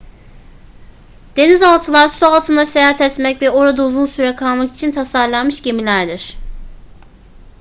denizaltılar su altında seyahat etmek ve orada uzun süre kalmak için tasarlanmış gemilerdir